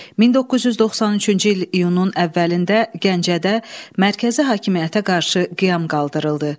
1993-cü il iyunun əvvəlində Gəncədə mərkəzi hakimiyyətə qarşı qiyam qaldırıldı.